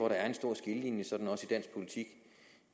der er en stor skillelinje